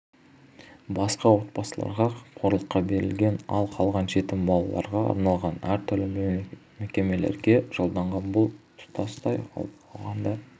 басқа отбасыларға қамқорлыққа берілген ал қалған жетім балаларға арналған әртүрлі мекемелерге жолданған бұл тұтастай алғанда